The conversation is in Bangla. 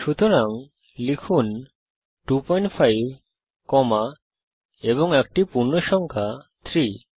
সুতরাং লিখুন 25 কমা এবং একটি পূর্ণসংখ্যা 3